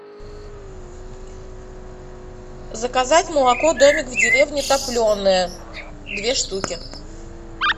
заказать молоко домик в деревне топленое две штуки